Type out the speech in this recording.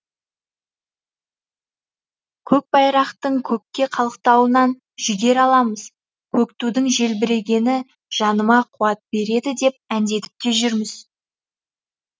көкбайрақтың көкте қалықтауынан жігер аламыз көк тудың желбірегені жаныма қуат береді деп әндетіп те жүрміз